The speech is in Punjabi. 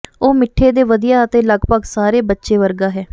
ਉਹ ਮਿੱਠੇ ਦੇ ਵਧੀਆ ਅਤੇ ਲਗਭਗ ਸਾਰੇ ਬੱਚੇ ਵਰਗਾ ਹੈ